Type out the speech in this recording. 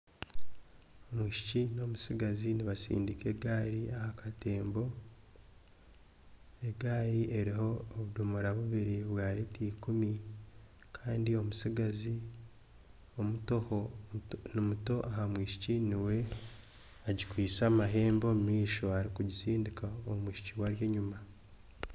Omwishiki n'omutsigazi nibatsindika egaari aha katembo, egaari eriho obudomora bwa rita ikumi kandi omutsigazi ni muto aha mwishiki, niwe agikwitse amahembe arikugisindika omwishiki we ari enyima